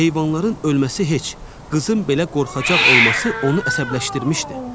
Heyvanların ölməsi heç, qızın belə qorxacaq olması onu əsəbləşdirmişdi.